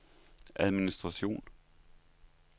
administration